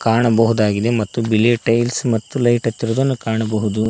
ಕಾಣಬಹುದಾಗಿದೆ ಮತ್ತು ಬಿಳಿಯ ಟೈಲ್ಸ್ ಮತ್ತು ಲೈಟ್ ಹಚ್ಚಿರುವುದನ್ನು ಕಾಣಬಹುದು.